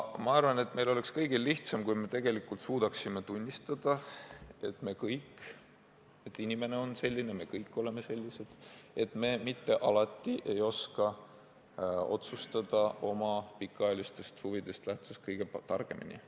Ma arvan, et meil kõigil oleks lihtsam, kui suudaksime tunnistada, et inimene on selline – me kõik oleme sellised –, et me mitte alati ei oska oma pikaajalistest huvidest lähtuvalt kõige targemini otsustada.